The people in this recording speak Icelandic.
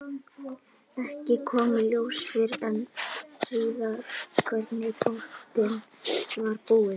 Ekki kom í ljós fyrr en síðar hvernig í pottinn var búið.